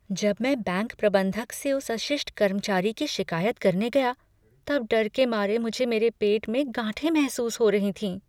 जब मैं बैंक प्रबंधक से उस अशिष्ट कर्मचारी की शिक़ायत करने गया तब डर के मारे मुझे मेरे पेट में गांठें महसूस हो रही थीं।